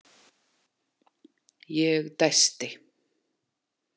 Ég dæsti.